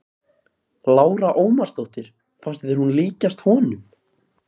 Lára Ómarsdóttir: Fannst þér hún líkjast honum?